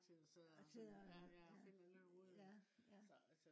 og sidde og ja ja